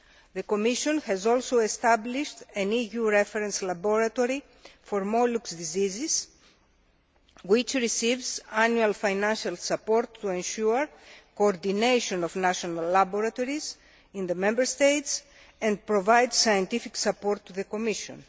The Commission has also established an EU reference laboratory for mollusc diseases, which receives annual financial support, to ensure coordination of national laboratories in the Member States and provide scientific support to the Commission.